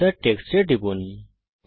insert text টুলের উপর টিপুন